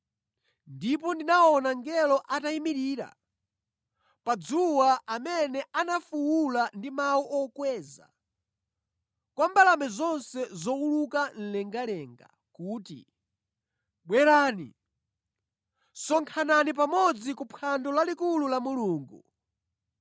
Ndipo ndinaona mngelo atayimirira pa dzuwa amene anafuwula ndi mawu okweza kwa mbalame zonse zowuluka mlengalenga kuti, “Bwerani, sonkhanani pamodzi ku phwando lalikulu la Mulungu.